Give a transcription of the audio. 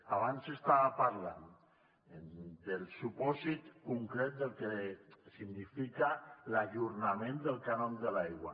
abans estava parlant del supòsit concret del que significa l’ajornament del cànon de l’aigua